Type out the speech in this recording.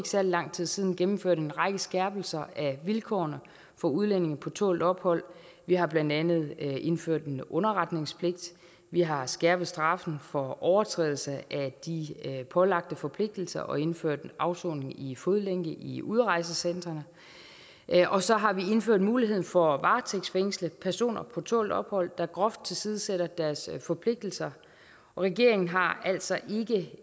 særlig lang tid siden gennemførte en række skærpelser af vilkårene for udlændinge på tålt ophold vi har blandt andet indført en underretningspligt vi har skærpet straffen for overtrædelse af de pålagte forpligtelser og indført en afsoning i fodlænke i udrejsecentrene og så har vi indført muligheden for at varetægtsfængsle personer på tålt ophold der groft tilsidesætter deres forpligtelser og regeringen har altså